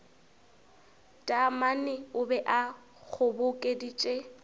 taamane o be a kgobokeditše